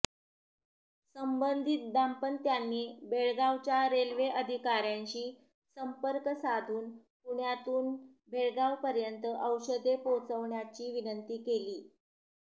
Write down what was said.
संबंधित दाम्पत्यानी बेळगावच्या रेल्वे अधिकाऱ्यांशी संपर्क साधून पुण्यातून बेळगावपर्यंत औषधे पोहोचवण्याची विनंती केली